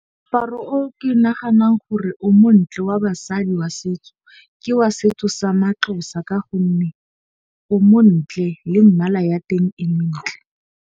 Moaparo o ke naganang gore o montle wa basadi wa setso ke wa setso sa ma-Xhosa. Ka gonne o montle le mmala ya teng e mentle.